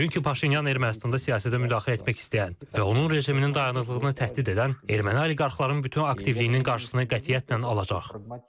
Çünki Paşinyan Ermənistanda siyasətə müdaxilə etmək istəyən və onun rejiminin dayanıqlığını təhdid edən erməni oliqarxların bütün aktivliyinin qarşısına qətiyyətlə alacaq.